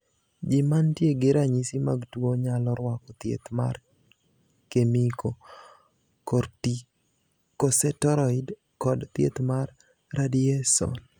Ji mantie gi ranyisi mag tuo nyalo rwako thieth mar kemiko, kortikoseteroid, kod thieth mar radiyeson.